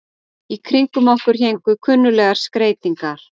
Í kringum okkur héngu kunnuglegar skreytingar.